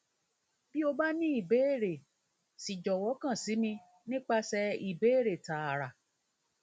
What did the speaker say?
bi o ba ni ibeere si jowo kan si mi nipase mi nipase ibeere taara